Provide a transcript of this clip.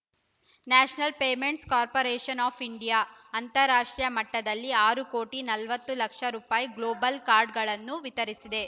national payments corporation of India ಅಂತರರಾಷ್ಟ್ರೀಯ ಮಟ್ಟದಲ್ಲಿ ಆರು ಕೋಟಿ ನಲವತ್ತು ಲಕ್ಷ ರೂಪೆ ಗ್ಲೋಬಲ್ ಕಾರ್ಡ್‌ಗಳನ್ನು ವಿತರಿಸಿದೆ